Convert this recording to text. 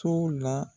So la